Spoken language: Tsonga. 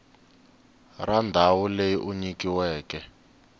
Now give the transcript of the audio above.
ra ndhawu leyi u nyikiweke